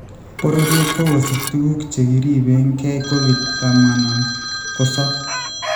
Bororyet kokosich tukuuk che keeriibekeey covid tamaa ak sokol